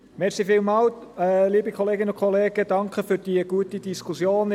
Ich danke für die gute Diskussion.